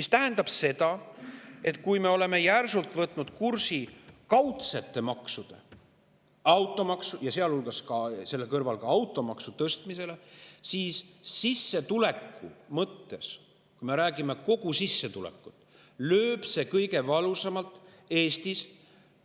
See tähendab seda, et kui me oleme järsult võtnud kursi kaudsete maksude tõstmisele ja selle kõrval ka automaksu, siis sissetuleku mõttes, kui me räägime kogu sissetulekust, lööb see Eestis kõige valusamalt